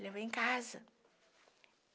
Levou em casa.